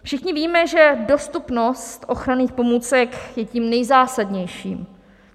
Všichni víme, že dostupnost ochranných pomůcek je tím nejzásadnějším.